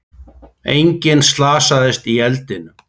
Enginn slasaðist í eldinum